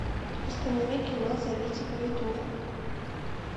установи кино зовите повитуху